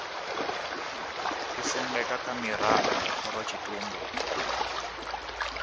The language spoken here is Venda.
isendeka kha mirao ya khorotshitumbe